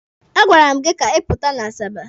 A gwara m gị ka ị pụta n'Asaba!